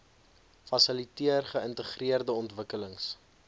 fasiliteer geïntegreerde ontwikkelings